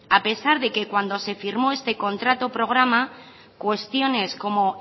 a pesar de que cuando se firmó este contrato programa cuestiones como